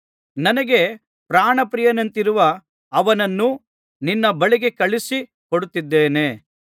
ನನಗೆ ಪ್ರಾಣ ಪ್ರಿಯನಂತಿರುವ ಅವನನ್ನು ನಿನ್ನ ಬಳಿಗೆ ಕಳುಹಿಸಿ ಕೊಡುತ್ತಿದ್ದೇನೆ